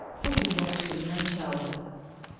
Bu gün də rus dilindən iki aldı.